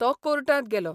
तो कोर्टात गेलो.